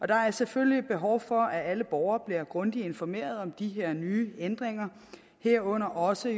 der er selvfølgelig behov for at alle borgere bliver grundigt informeret om de her nye ændringer herunder også